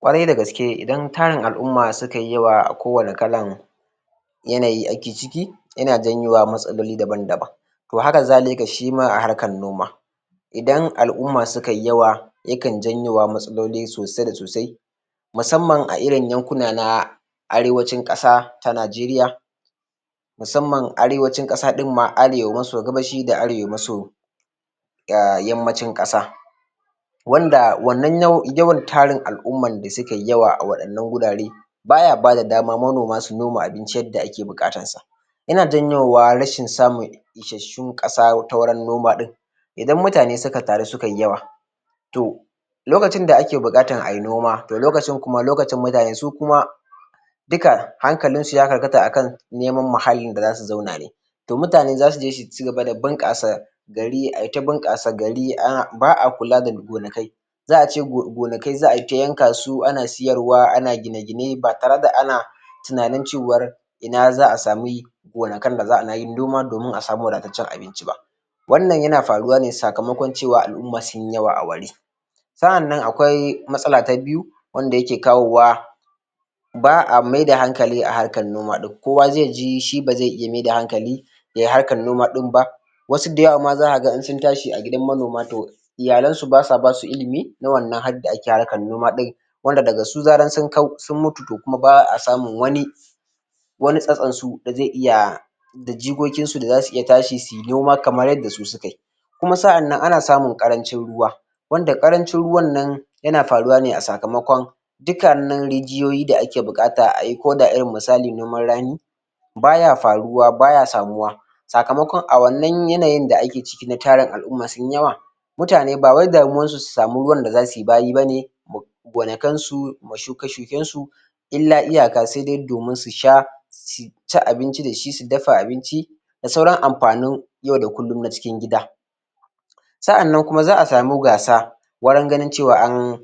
Ƙwarai da gaske idan tarin al'umma suka yi yawa a ko wani kalan yanayi ake ciki yana janyo matsaloli daban daban to hakazalika a harkan noma idan al'umma suka yi yawa yakan janyo matsaloli sosai da sosai musamman a irin yankuna na arewacin ƙasa ta najeriya Musamman arewacin ƙasa ɗin ma arewa maso gabashi da arewa maso um yammacin ƙasa wanda wannan yawan tarin al'umman da suka yi yawa a waɗannan wurare baya bada dama manoma su noma abinci yadda ake buƙatansa yana janyo rashin samun isassun ƙasa ta wurin noma ɗin idan mutane suka ƙaru suka yi yawa to lokacin da ake buƙatan ayi noma to lokacin kuma lokacin mutane su kuma duka hankalinsu ya karkata Akan neman muhallin da zasu zauna ne to mutane zasu je su cigaba da bunƙasa gari ayi ta bunƙasa gari ba a kula da gonaki za a ce gonaki za a yi ta yanka su ana siyar wa ana gine gine ba tare da ana tunanin cewar ina za a samu gonakin da za a yi noma domin a samu wadataccen abinci ba wannan yana faruwa ne sakamakon cewa al'umma sun yi yawa a wuri sa'annan akwai matsala ta biyu wanda yake kawowa ba a maida hankali a harkan noma kowa zai ji shi ba zai iya maida hankali yayi harkan noma ɗin ba wasu dayawa ma zaka ga in sun tashi a gidan manoma to iyalan su basa ba su ilimi na wannan halin da ake harkar noma ɗin wanda daga su zaran sun kau sun mutu to kuma ba a samun wani wani tsatson su da zai iya da jikokin su da zasu iya tashi suyi noma kamar yadda su suka yi kuma sa'annan ana samun ƙarancin ruwa wanda ƙarancin ruwan nan yana faruwa ne a sakamakon dukkanin rijiyoyi da ake buƙata ayi ko da irin misali noman rani Baya faruwa baya samuwa sakamakon a wannan yanayin da ake ciki tarin al'umma sunyi yawa mutane ba wai damuwan su su samu ruwan da zasu yi bayi bane gonakin su ma shuke shuken su illa iyaka sai dai domin su sha su ci abinci da shi su dafa abinci da sauran amfanin yau da kullum na cikin gida sa'annan kuma za a samu gasa wurin ganin cewa an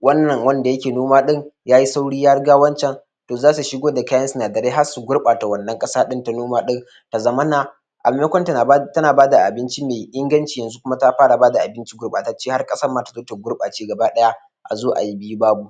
wannan wanda yake noma ɗin yayi sauri ya riga wancan don zasu shigo da kayan sinadarai har su gurɓata wannan ƙasa ɗin ta noma ɗin ya zamana a maimakon tana bada abinci mai inganci yanzu kuma ta fara bada abinci gurɓatacce har ƙasar ma tazo ta gurɓace gaba daya a zo ayi biyu babu.